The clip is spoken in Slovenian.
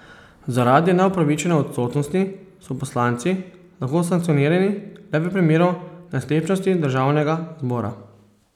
Zaradi neupravičene odsotnosti so poslanci lahko sankcionirani le v primeru nesklepčnosti državnega zbora.